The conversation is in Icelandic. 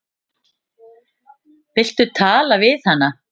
Viltu tala við hana?